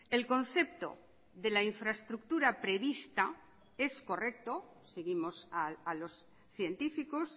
el concepto de la infraestructura prevista es correcto seguimos a los científicos